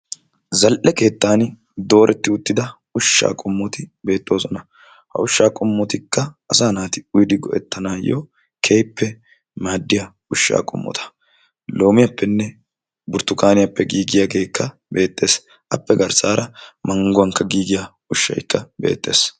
zal''e keettan dooreti uttida ushsha qommoti beettoosona. ha ushsha qomotik asa naati uyyidi go'ettanayyo keehippe maaddiya loomiyappenne burttukaniyappe giigiyaagekka beettees. appe garssara mangguwan giigiya ushshakka beettees.